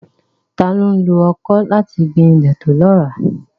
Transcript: Ta ló ń lo ọkọ́ láti gbin ilẹ̀ tó lọ́ràá?